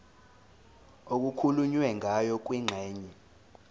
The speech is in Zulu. okukhulunywe ngayo kwingxenye